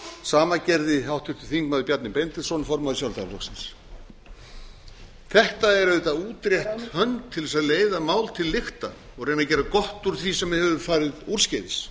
sama gerði háttvirtur þingmaður bjarni benediktsson formaður sjálfstæðisflokksins þetta er auðvitað útrétt hönd til þess að leiða mál til lykta og reyna að gera gott úr því sem hefur farið úrskeiðis